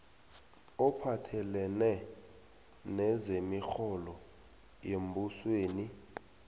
ophathelene nezemirholo yembusweni